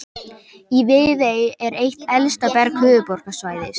Í Viðey er eitt elsta berg höfuðborgarsvæðisins.